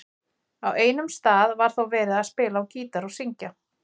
Á einum stað var þó verið að spila á gítar og syngja.